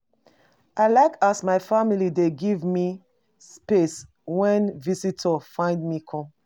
I like as my family dey give me space wen visitors find me come.